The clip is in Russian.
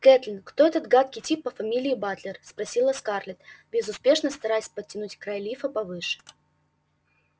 кэтлин кто этот гадкий тип по фамилии батлер спросила скарлетт безуспешно стараясь подтянуть край лифа повыше